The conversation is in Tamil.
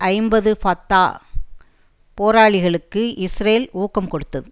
ஐம்பது ஃபத்தா போராளிகளுக்கு இஸ்ரேல் ஊக்கம் கொடுத்தது